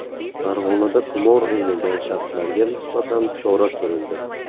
Farg‘onada qimor o‘ynagan shaxslarga nisbatan chora ko‘rildi.